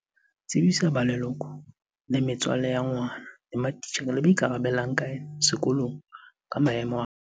Tsebisa ba leloko le metswalle ya ngwana, matitjhere le ba ikarabellang ka yena sekolong ka maemo a hae.